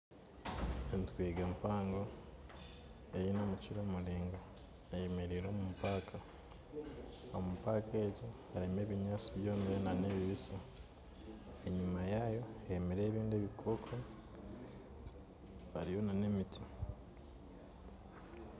Enturegye mpango eyine omukira muriangwa eyemeriire omupaka, omupaka egi harimu ebinyansi byomire hamwe n'ebibisi, enyima yaayo hemerireyo ebindi ebikooko hariyo n'emiti.